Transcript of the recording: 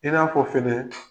I n'a fɔ fɛnɛ